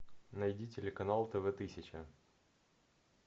найди телеканал тв тысяча